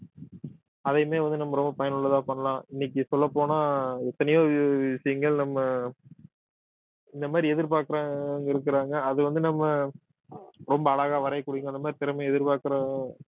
அதையுமே வந்து நம்ம ரொம்ப பயனுள்ளதா பண்ணலாம் இன்னைக்கு சொல்லப்போனால் எத்தனையோ விஷய~விஷயங்கள் நம்ம இந்த மாதிரி எதிர்பார்க்கிறவங்க இருக்கிறாங்க அது வந்து நம்ம ரொம்ப அழகா வரைய கூடிய அந்த மாதிரி திறமையை எதிர்பார்க்கிற